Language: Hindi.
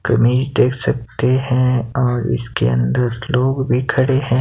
कमीज देख सकते हैं और इसके अंदर लोग भी खड़े हैं।